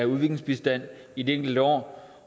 udviklingsbistand i de enkelte år